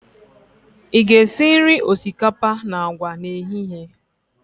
Ị ga-esi nri osikapa na agwa n'ehihie?